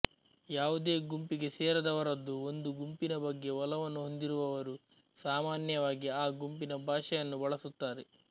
ಯಾವುದೇ ಗುಂಪಿಗೆ ಸೇರದವರದ್ದು ಒಂದು ಗುಂಪಿನ ಬಗ್ಗೆ ಒಲವನ್ನು ಹೊಂದಿರುವವರು ಸಾಮಾನ್ಯವಾಗಿ ಆ ಗುಂಪಿನ ಭಾಷೆಯನ್ನು ಬಳಸುತ್ತಾರೆ